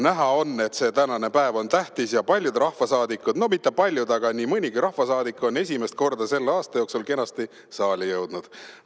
Näha on, et see tänane päev on tähtis ja paljud rahvasaadikud – no mitte paljud, aga nii mõnigi rahvasaadik – on esimest korda selle aasta jooksul kenasti saali jõudnud.